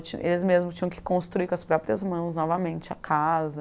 ti, eles mesmos tinham que construir com as próprias mãos, novamente, a casa.